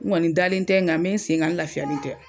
Nkɔni dalen tɛ nga me n sen kan n lafiyalen tɛ